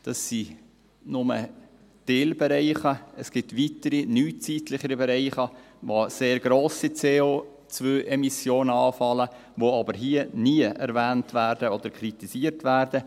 Das sind nur Teilbereiche, es gibt weitere neuzeitliche Bereiche, wo sehr grosse CO-Emissionen anfallen, die aber hier nie erwähnt oder kritisiert werden.